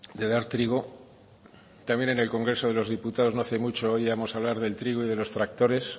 de dar trigo también en el congreso de los diputados no hace mucho oíamos hablar del trigo y de los tractores